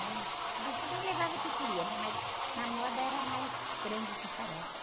né? Bom, cada um levava o que queria, né? Mas na moda era mais frango com farofa.